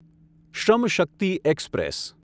શ્રમ શક્તિ એક્સપ્રેસ